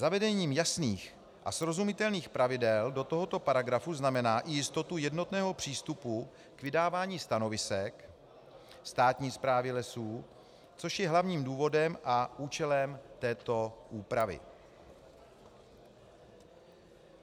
Zavedení jasných a srozumitelných pravidel do tohoto paragrafu znamená i jistotu jednotného přístupu k vydávání stanovisek státní správy lesů, což je hlavním důvodem a účelem této úpravy.